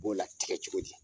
U b'o latgɛ cogo di?